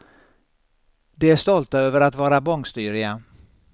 De är stolta över att vara bångstyriga.